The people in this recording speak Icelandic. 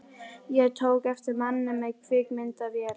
Ég tók eftir manni með kvikmyndavél.